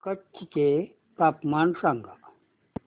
कच्छ चे तापमान सांगा